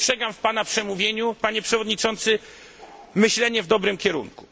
Dostrzegam w pana przemówieniu, panie przewodniczący, myślenie w dobrym kierunku.